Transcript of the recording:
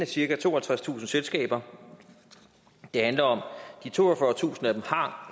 cirka toogtredstusind selskaber det handler om de toogfyrretusind af dem har